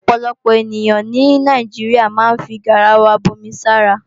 Ọ̀pọ̀lọpọ̀ ènìyàn ní Nàìjíríà máa ń fi garawa bomi sára